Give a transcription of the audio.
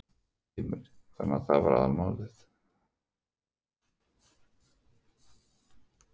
Heimir: Þannig að það er málið?